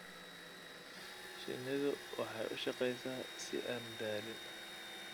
Shinnidu waxay u shaqeysaa si aan daalin.